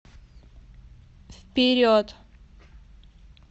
вперед